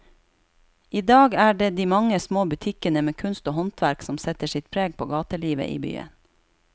I dag er det de mange små butikkene med kunst og håndverk som setter sitt preg på gatelivet i byen.